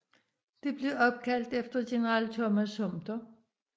Det blev opkaldt efter general Thomas Sumter